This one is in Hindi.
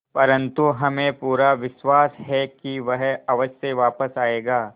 परंतु हमें पूरा विश्वास है कि वह अवश्य वापस आएगा